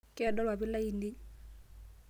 Keedo ilpapit lainei.